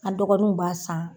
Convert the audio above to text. A dɔgɔninw b'a san